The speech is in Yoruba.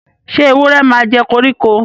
sé ewúrẹ màjẹ koriko?